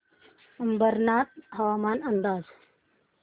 अंबरनाथ हवामान अंदाज